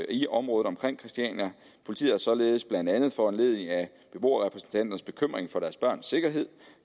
i området omkring christiania politiet har således blandt andet foranlediget af beboerrepræsentanternes bekymring for deres børns sikkerhed